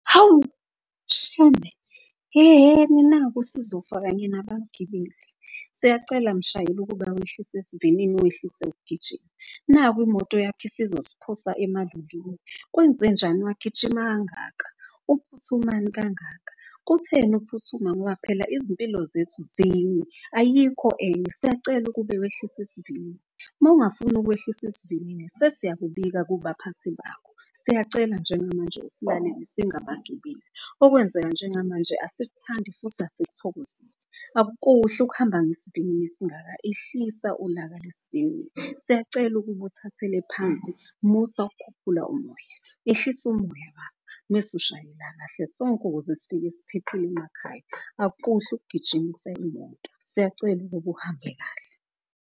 Hawu shembe! Yehheni naku sizofaka kanye nabagibeli. Siyacela mshayeli ukuba wehlise isivinini, wehlise ukugijima naku imoto yakho isizosiphosa . Kwenzenjani, wagijima kangaka, uphuthumani kangaka, kutheni ukuphuthuma? Ngoba phela izimpilo zethu zinye ayikho enye siyacela ukube wehlise isivinini. Mawungafuni ukwehlisa isivinini sesiyakubika kubaphathi bakho. Siyacela njengamanje usilalele singabagibeli, okwenzeka njengamanje asikuthandi futhi asithokozeli. Akuhle ukuhamba ngesivinini esingaka ehlisa ulaka lesivinini. Siyacela ukuba uthathele phansi, musa ukukhuphula umoya, ehlise umoya . Mese ushayela kahle sonke ukuze sifike siphephile emakhaya akukuhle ugijimisa imoto. Siyacela ukuba uhambe kahle.